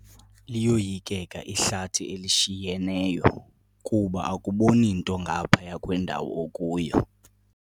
Liyoyikeka ihlathi elishinyeneyo kuba akuboni nto ngaphaya kwendawo okuyo.